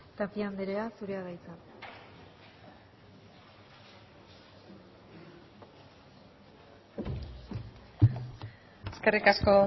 tapia andrea zurea da hitza eskerrik asko